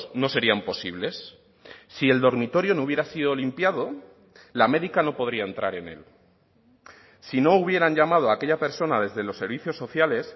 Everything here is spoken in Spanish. no serían posibles si el dormitorio no hubiera sido limpiado la médica no podría entrar en él si no hubieran llamado a aquella persona desde los servicios sociales